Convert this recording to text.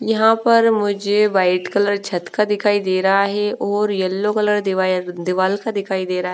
यहाँ पर मुझे वाइट कलर छत का दिखाई दे रहा है ओए यल्लो कलर दिवायर दीवाल का दिखाई दे रहा--